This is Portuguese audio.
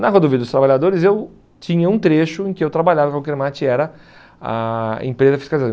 Na Rodovia dos Trabalhadores, eu tinha um trecho em que eu trabalhava com o Kermat e era a empresa fiscalizadora.